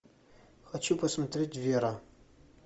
хочу посмотреть вера